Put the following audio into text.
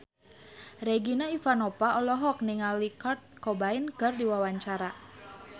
Regina Ivanova olohok ningali Kurt Cobain keur diwawancara